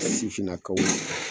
sifinnakaw